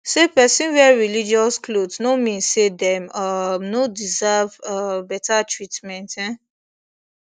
say person wear religious cloth no mean say dem um no deserve um better treatment um